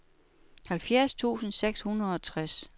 halvfjerds tusind seks hundrede og tres